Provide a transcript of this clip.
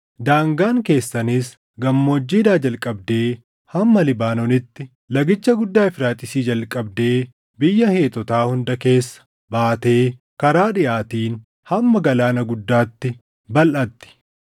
Daangaan keessanis gammoojjiidhaa jalqabdee hamma Libaanoonitti, lagicha guddaa Efraaxiisii jalqabdee biyya Heetotaa hunda keessa baatee karaa dhiʼaatiin hamma Galaana Guddaatti balʼatti.